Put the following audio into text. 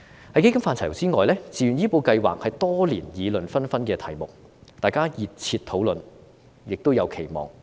在基金範疇之外，自願醫保計劃是多年議論紛紛的題目，大家熱切討論，亦有期望。